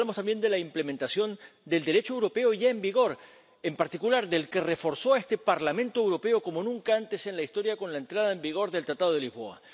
Pero aquí hablamos también de la implementación del Derecho europeo ya en vigor, en particular del que reforzó a este Parlamento Europeo como nunca antes en la historia, con la entrada en vigor del Tratado de Lisboa.